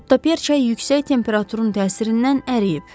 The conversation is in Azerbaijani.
Quttaperça yüksək temperaturun təsirindən əriyib.